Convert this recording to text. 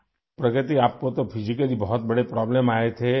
پرگتی، آپ کو جسمانی طور پر ایک بڑی پریشانی کا سامنا تھا